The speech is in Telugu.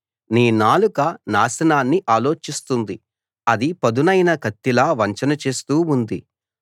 నీ నాలుక నాశనాన్ని ఆలోచిస్తుంది అది పదునైన కత్తిలా వంచన చేస్తూ ఉంది